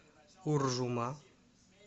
уржума